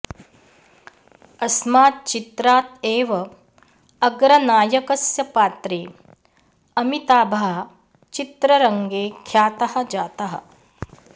अस्मात् चित्रात् एव अग्रनायकस्य पात्रे अमिताभः चित्ररङ्गे ख्यातः जातः